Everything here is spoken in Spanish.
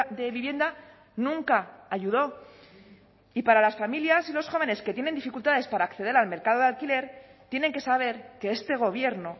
de vivienda nunca ayudó y para las familias y los jóvenes que tienen dificultades para acceder al mercado de alquiler tienen que saber que este gobierno